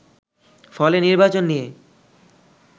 ফলে নির্বাচন নিয়ে